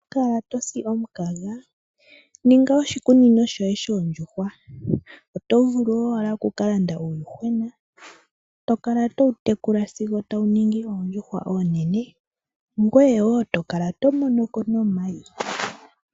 Ino kala tosi omukaga ,ninga oshikunino shoye shondjuhwa otovulu owala oku ka landa uundjuhwena ngweye tokala towu tekula sigwo tawu ningi oondjuhwa onene ngweye tokala tomonoko omayi.